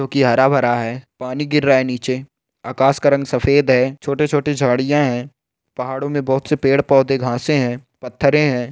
जो की हरा भरा है पानी गिर रा है नीचे आकास का रंग सफ़ेद है छोटे छोटे झाड़ियाँ है पहाड़ो में बोहोत से पेड़ पोधे घासे है पत्थरे है।